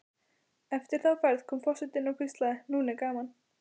Eftir þá ferð kom forsetinn og hvíslaði: Nú er gaman